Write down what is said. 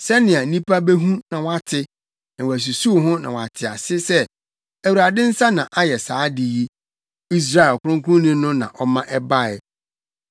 sɛnea nnipa behu na wɔate, na wɔasusuw ho na wɔate ase sɛ, Awurade nsa na ayɛ saa ade yi, Israel ɔkronkronni no na ɔma ɛbae.